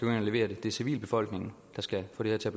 og levere det det er civilbefolkningen der skal få det her til